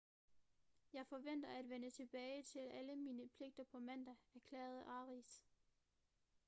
jeg forventer at vende tilbage til alle mine pligter på mandag erklærede arias